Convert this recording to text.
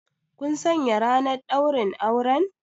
Kun sanya ranar ɗaurin auren?